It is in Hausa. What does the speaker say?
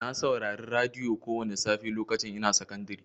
Na saurari radiyo kowani safe lokacin ina sakandari.